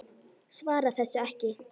Svarar þessu ekki.